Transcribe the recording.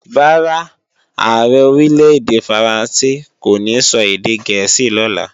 Rárá, Ààrẹ Orílè-èdè Faransé kò ní sọ èdè gẹ̀ẹ́sì lọ́la